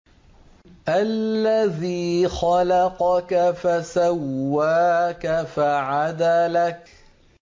الَّذِي خَلَقَكَ فَسَوَّاكَ فَعَدَلَكَ